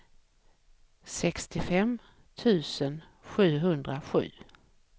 sextiofem tusen sjuhundrasju